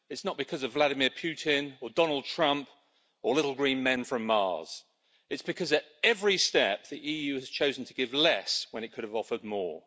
It's not because of Vladimir Putin or Donald Trump or little green men from Mars. It's because at every step the EU has chosen to give less when it could have offered more.